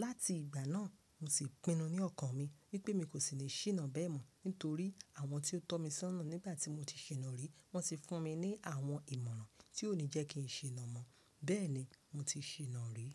Láti ìgbà náà, mo ti pinu ní ọkàn mi wípé mi kò sì ní ṣìnà bẹ́ẹ̀ mọ́ nítorí àwọn tí ó tọ́ mi sọ́nà nígbà tí mo ti ṣìnà rí, wọ́n ti fún mi ní àwọn ìmọ̀ràn tí ó ní jẹ́ kí n ṣìnà mọ́. Bẹ́ẹ̀ni mo ti ṣìnà rí.